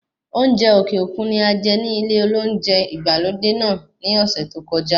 Oúnjẹ òkè òkun ni ajẹ ní ilé olóúnjẹ ìgbàlódé náà ní ọ̀sẹ̀ tí ókojá.